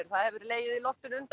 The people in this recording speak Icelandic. það hefur legið í loftinu